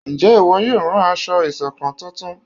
Nje ìwo yóò ràn aṣọ ìṣọ̀kan túntún?